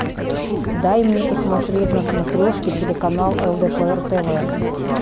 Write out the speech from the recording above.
дай мне посмотреть на смотрешке телеканал лдпр тв